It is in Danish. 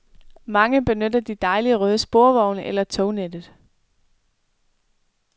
Mange benytter de dejlige røde sporvogne eller tognettet.